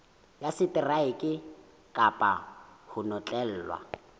ya seteraeke kapa ho notlellwa